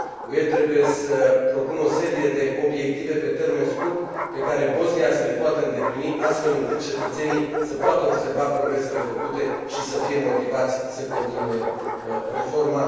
UE trebuie să propună o serie de obiective pe termen scurt, pe care Bosnia să le poată îndeplini, astfel încât cetățenii să poată observa progresele făcute și să fie motivați să continue reforma.